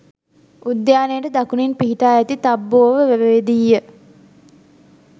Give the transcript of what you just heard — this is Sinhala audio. උද්‍යානයට දකුණින් පිහිටා ඇති තබ්බෝව වැවේදීය.